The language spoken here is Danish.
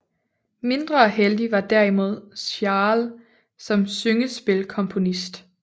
Mindre heldig var derimod Schall som syngespilkomponist